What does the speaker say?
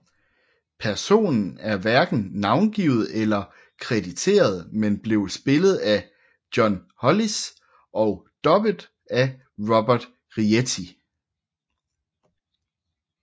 Personen er hverken navngivet eller krediteret men blev spillet af John Hollis og dubbet af Robert Rietti